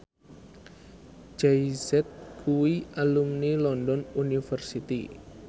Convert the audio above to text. Jay Z kuwi alumni London University